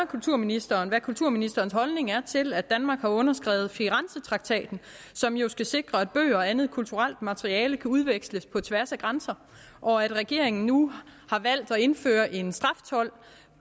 kulturministeren hvad kulturministerens holdning er til at danmark har underskrevet firenzetraktaten som jo skal sikre at bøger og andet kulturelt materiale kan udveksles på tværs af grænser og at regeringen nu har valgt at indføre en straftold